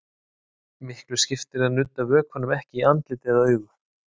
Miklu skiptir að nudda vökvanum ekki í andlit eða augu.